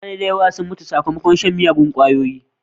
Mutane da yawa sun mutu sakmakon shan miyagun ƙwayoyi.